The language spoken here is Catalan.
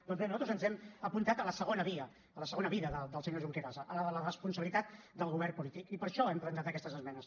doncs bé nosaltres ens hem apuntat a la segona via a la segona vida del senyor junqueras a la de la responsabilitat del govern polític i per això hem presentat aquestes esmenes